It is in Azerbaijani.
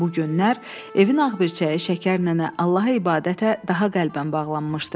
Bu günlər evin ağbircəyi Şəkər nənə Allaha ibadətə daha qəlbən bağlanmışdı.